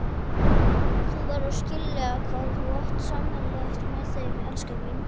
Þú verður að skilja hvað þú átt sameiginlegt með þeim, elskan mín.